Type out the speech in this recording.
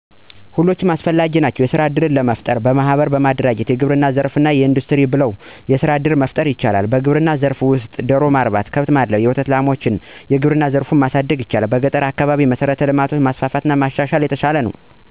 ሁሎችም አስፈላጊ ናቸዉ። የስራ እድሎችን ለጠረፍጠር በማሕበር በመደራጀት የግብርና ሥራወችን፣ እንዱስትሪ ውችን እነዚህን የመሳሰሉትን በመሰራት ሥራ እድል መፍጠር ይቻላል። በግብርና ዘርፍ ላይ ደሮ ማርባት፣ ከብት ማድለብ፣ የወተት ላሟች፣ የግብርና ዘርፉን ማሣደግ ይቻላል። ስለጤናዘርፋ በተለይ ለገጠሩህብረተሰብ በሰፊው እንዲደርስ እፈልጋለሁ። ምክንያቱም ግንዛቤ እጥአትና የትምህርት እጥረት ስለሚኖር። ይሕንን ክፋተት ለመሙላት፦ በገጠራማዉ አካባቢ የመብራት አና የኔትወርክ ዝርጋታዎችን ማስፋፋት የተሻለ ነዉ